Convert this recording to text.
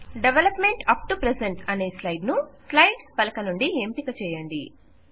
develop meant up to present అనే slide ను slides పలక నుండి ఎంపిక చేయండి